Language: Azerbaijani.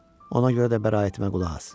Ona görə də bəraətimə qulaq as.